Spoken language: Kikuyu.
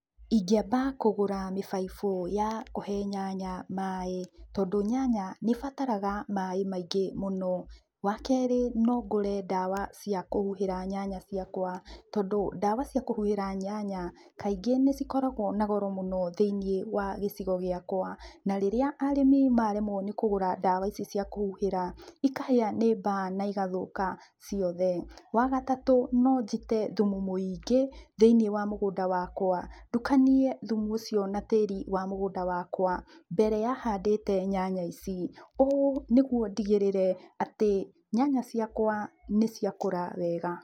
Ingĩamba kũgũra mĩbaibũ ya kũhe nyanya maaĩ, tondũ nyanya nĩĩbataraga maaĩ maingĩ mũno. Wa kerĩ, no ngũre ndawa cia kũhuhĩra nyanya ciakwa, tondũ ndawa cia kũhuhĩra nyanya kaingĩ nĩcikoragwo na goro mũno thĩiniĩ wa gĩcigo gĩakwa. Na rĩrĩa arĩmi maremwo nĩkũgũra ndawa icio cia kũhuhĩra ikahĩa nĩ mbaa na cigathũka ciothe. Wa gatatũ, no njite thumu mũingĩ thĩiniĩ wa mũgũnda wakwa ndukanie thumu ũcio na tĩri wa mũgũnda wakwa mbere ya handĩte nyanya ici, ũũ nĩguo ndĩgĩrĩre atĩ nyanya ciakwa nĩciakũra wega.